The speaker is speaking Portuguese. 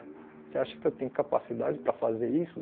Você acha que eu tenho capacidade para fazer isso?